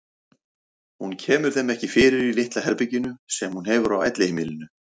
Hún kemur þeim ekki fyrir í litla herberginu sem hún hefur á elliheimilinu.